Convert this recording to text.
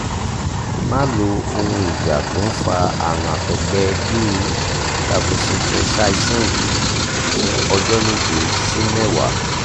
má lo ohun ìjà tó ń fa àrùn àtọ́gbẹ́ bíi levocetirizine fún ọjọ́ méje si mẹ́wàá